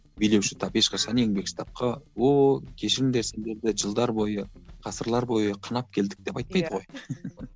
билеуші тап ешқашан еңбекші тапқа ооо кешіріңдер сендерді жылдар бойы ғасырлар бой қанап келдік деп айтпайды ғой